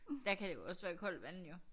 Der kan det jo også være koldt vandet jo